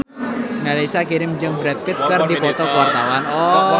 Mellisa Karim jeung Brad Pitt keur dipoto ku wartawan